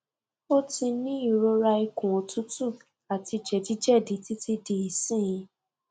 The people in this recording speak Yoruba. o ti ni irora ikun otutu ati jedijedi titi di isin